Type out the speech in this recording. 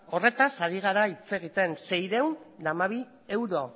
horretaz ari gara hitz egiten seiehun eta hamabi euro